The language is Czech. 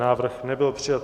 Návrh nebyl přijat.